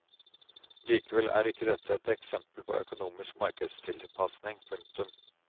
Likevel er ikke dette et eksempel på økonomisk markedstilpasning. punktum